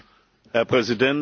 Herr Präsident!